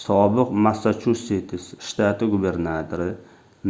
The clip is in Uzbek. sobiq massachusets shtati gubernatori